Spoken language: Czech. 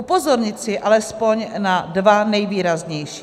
Upozornit chci alespoň na dva nejvýraznější.